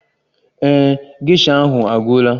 Ee e, geisha ahụ agwụla